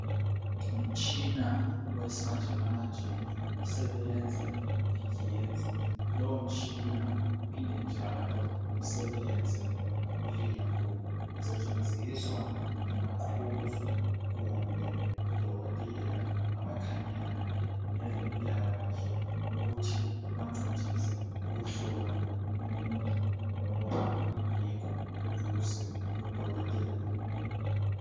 Ngumtshina owesimanjemanje osebenza ngegetsi lowo mtshina uphinde njalo usebenze ngobulembu, usetshenziswa ngumaqhuzu kumbe odokotela abakhangelane lempilakahle ukuthi ubancedise ukuhlola umuntu loba engekho eduze lodokotela.